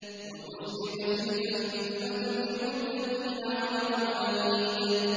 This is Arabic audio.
وَأُزْلِفَتِ الْجَنَّةُ لِلْمُتَّقِينَ غَيْرَ بَعِيدٍ